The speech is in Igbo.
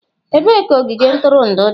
Ebee ka ogige ntụrụndụ dị?